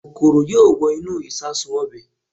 Kòkòrò yóò wọ inú ìṣasùn ọbẹ̀